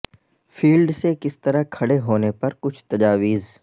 field سے کس طرح کھڑے ہونے پر کچھ تجاویز